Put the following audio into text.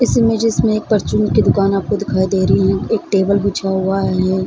इस इमेजेस मे एक फॉर्च्यून की दुकान आपको दिखाई दे रही हैं एक टेबल बिछा हुआ हैं |